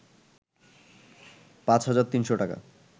৫৩০০ টাকা